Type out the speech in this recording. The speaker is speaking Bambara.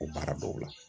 O baara dɔw la